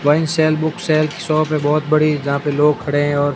वहीं sale book sale shop है बहोत बड़ी जहां पे लोग खडे है और--